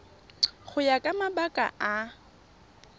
go ya ka mabaka a